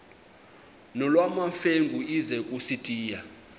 nolwamamfengu ize kusitiya